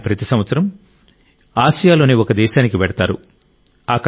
ఆయన ప్రతి సంవత్సరం ఆసియాలోని ఒక దేశానికి వెళ్తారు